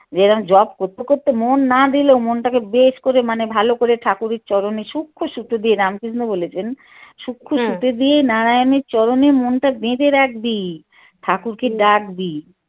যে এরম যপ করতে করতে মন না দিলেও মনটাকে বেশ করে মানে ভালো করে ঠাকুরের চরণে সুক্ষ্ম সুতো দিয়ে রামকৃষ্ণ বলেছেন সুক্ষ্ম সুতি দিয়ে নারায়ণের চরণে মনটা বেঁধে রাখবি ঠাকুরকে ডাকবি।